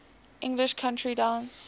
english country dance